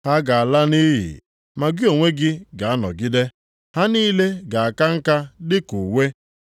Ha ga-ala nʼiyi, ma gị onwe gị ga-anọgide. Ha niile ga-aka nka dịka uwe.